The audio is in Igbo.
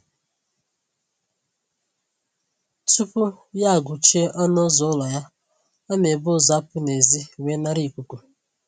Tupu ya agụchie ọnụ ụzọ ụlọ ya, ọ na-ebu ụzọ apụ n'ezi wee nara ikuku